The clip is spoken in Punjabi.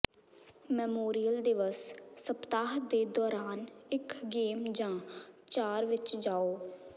ਮੈਮੋਰੀਅਲ ਦਿਵਸ ਸਪਤਾਹ ਦੇ ਦੌਰਾਨ ਇਕ ਗੇਮ ਜਾਂ ਚਾਰ ਵਿੱਚ ਜਾਓ